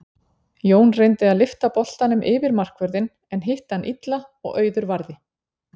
Jóna reyndi að lyfta boltanum yfir markvörðinn en hitti hann illa og Auður varði.